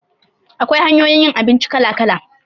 Akwai hanyoyin yin abinci kala-kala